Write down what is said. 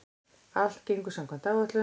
Allt gengur samkvæmt áætlun